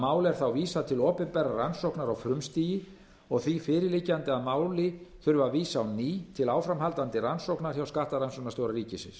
er þá vísað til opinberrar rannsóknar á frumstigi og því fyrirliggjandi að máli þurfi að vísa á ný til áframhaldandi rannsóknar hjá skattrannsóknarstjóra ríkisins